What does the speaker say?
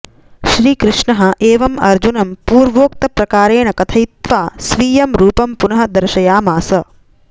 श्रीकृष्णः एवम् अर्जुनं पूर्वोक्तप्रकारेण कथयित्वा स्वीयम् रूपं पुनः दर्शयामास